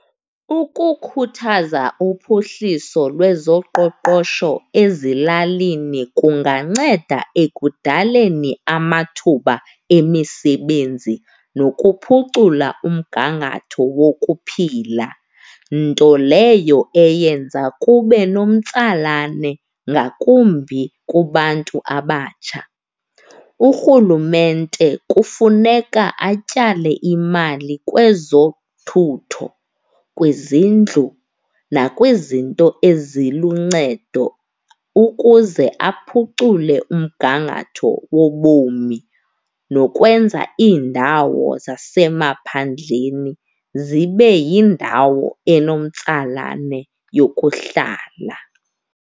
Ukukhuthaza uphuhliso lwezoqoqosho ezilalini kunganceda ekudaleni amathuba emisebenzi nokuphucula umgangatho wokuphila, nto leyo eyenza kube nomtsalane ngakumbi kubantu abatsha. Urhulumente kufuneka atyale imali kwezothutho, kwizindlu, nakwizinto eziluncedo ukuze aphucule umgangatho wobomi nokwenza iindawo zasemaphandleni zibe yindawo enomtsalane yokuhlala.